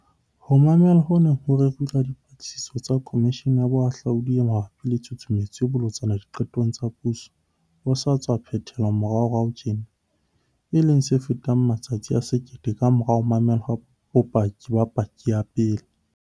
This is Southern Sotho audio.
Ho mamelwa ho neng ho rerilwe ha Dipatlisiso tsa Komishene ya Boahlodi e mabapi le Tshusumetso e Bolotsana Diqetong tsa Puso ho sa tswa phethe-lwa moraorao tjena, e leng se fetang matsatsi a 1 000 kamora ho mamelwa ha bopaki ba paki ya pele.